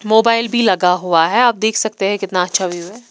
Mobile भी लगा हुआ है आप देख सकते हैं कितना अच्छा व्यू है।